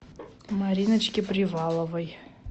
мариночке приваловой